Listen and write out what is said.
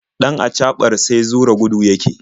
Ɗan acaɓar sai zura gudu yake.